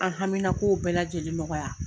An hamina ko bɛɛ lajɛlen nɔgɔya